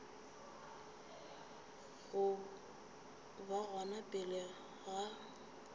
go ba gona pele ga